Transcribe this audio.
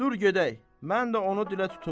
Dur gedək, mən də onu dilə tutum.